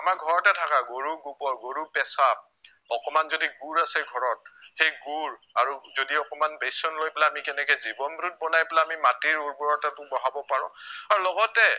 আমাৰে ঘৰতে থকা গৰুৰ গোবৰ গৰুৰ পেচাৱ অকমান যদি গুৰ আছে ঘৰত সেই গুৰ আৰু যদি অকমান বেচন লৈ পেলাই আমি কেনেকে জীৱন root বনাই পেলাই আমি মাটিৰ উৰ্বৰতাটো বঢ়াব পাৰো আৰু লগতে